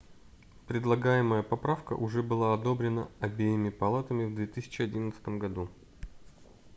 предлагаемая поправка уже была одобрена обеими палатами в 2011 году